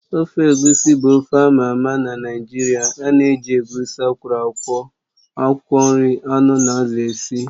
Ofe egusi bụ ofe ámá ama na Naịjirịa ánà eji egusi akwọro akwọ, akwụkwọ nri, anụ na azụ esi